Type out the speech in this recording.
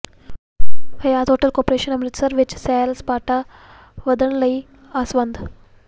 ਹਯਾਤ hotel corporation Amritsar ਵਿੱਚ ਸੈਰ ਸਪਾਟਾ ਵਧਣ ਲਈ ਆਸਵੰਦ